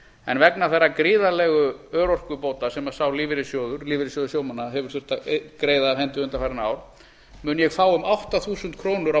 en vegna þeirra gríðarlegu örorkubóta sem sá lífeyrissjóður lífeyrissjóður sjómanna hefur þurft að greiða af hendi undanfarin ár mun ég fá um átta þúsund krónur á